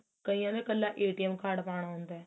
ਕਈਆਂ ਨੇ ਇੱਕਲਾ card ਪਾਣਾ ਹੁੰਦਾ